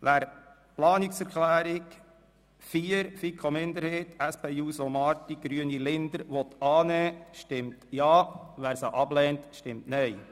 Wer die Planungserklärung 4 FiKo-Minderheit, Grüne/Linder und SP-JUSOPSA/ Marti annehmen will, stimmt Ja, wer diese ablehnt, stimmt Nein.